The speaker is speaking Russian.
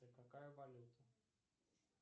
какая валюта